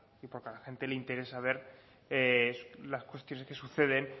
y porque a la gente le interesa ver las cuestiones que suceden